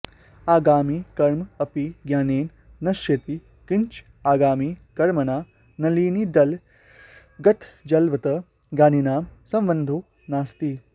आगामि कर्म अपि ज्ञानेन नश्यति किंच आगामि कर्मणां नलिनीदलगतजलवत् ज्ञानिनां सम्बन्धो नास्ति